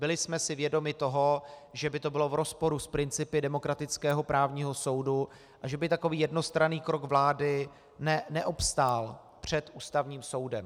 Byli jsme si vědomi toho, že by to bylo v rozporu s principy demokratického právního soudu a že by takový jednostranný krok vlády neobstál před Ústavním soudem.